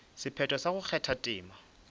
sephetho sa go kgatha tema